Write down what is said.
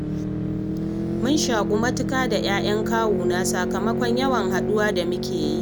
Mun shaƙu matuƙa da 'ya'yan kawuna, sakamakon yawan haɗuwa da muke yi.